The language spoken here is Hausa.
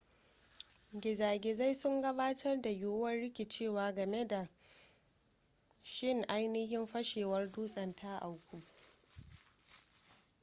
gizagizai sun gabatar da yiwuwar rikicewa game da shin ainihin fashewar dutsen ta auku